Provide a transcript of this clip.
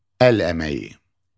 Əl əməyi.